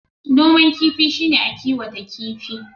Noman kifi shi ne a kiwata kifi.